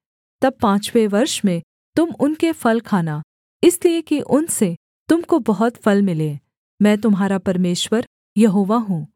तब पाँचवें वर्ष में तुम उनके फल खाना इसलिए कि उनसे तुम को बहुत फल मिलें मैं तुम्हारा परमेश्वर यहोवा हूँ